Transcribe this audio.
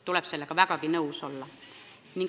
Sellega tuleb vägagi nõus olla.